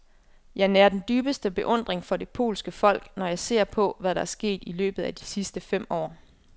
Jeg nærer den dybeste beundring for det polske folk, når jeg ser på, hvad der er sket i løbet af de sidste fem år.